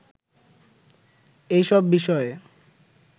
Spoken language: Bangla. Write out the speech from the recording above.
এসব বিষয়ে